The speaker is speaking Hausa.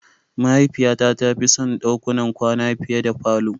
Mahaifiyata ta fi son dakunan kwana fiye da falo.